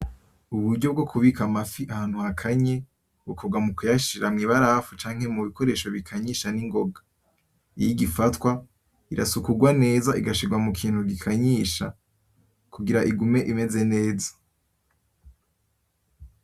Uburyo bwo kubika amafi ahantu hakanye bikorwa mu kuyashira mu mabarafu, canke mubikoresho bikanyisha nigoga igifatwa irasukurwa neza igashirwa mukintu gikanyisha kungira igume imeze neza.